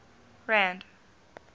rand